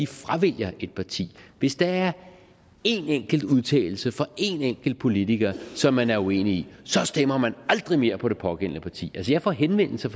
fravælger et parti hvis der er en enkelt udtalelse fra en enkelt politiker som man er uenig så stemmer man aldrig mere på det pågældende parti jeg får henvendelser